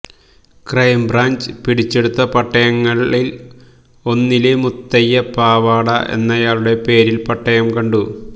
crime branch പിടിച്ചെടുത്ത പട്ടയങ്ങളില് ഒന്നില് മുത്തയ്യ പാവാട എന്നയാളുടെ പേരില് പട്ടയം കണ്ടു